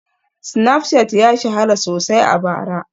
Snapchat ya shahara sosai a bara